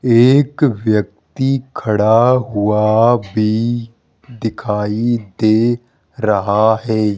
एक व्यक्ति खड़ा हुआ भी दिखाई दे रहा है।